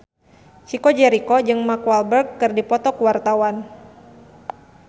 Chico Jericho jeung Mark Walberg keur dipoto ku wartawan